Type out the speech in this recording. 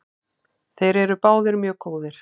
Þeir eru báðir mjög góðir.